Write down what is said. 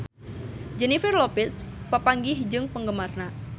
Jennifer Lopez papanggih jeung penggemarna